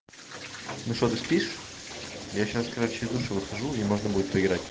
ну что ты спишь я сейчас короче из душа выхожу и можно будет поиграть